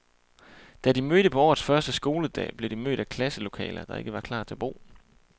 Da de mødte på årets første skoledag, blev de mødt af klasselokaler, der ikke var klar til brug.